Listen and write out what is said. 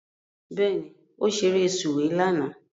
Bẹ́ẹ̀ni, ó ṣeré sùwé lánàá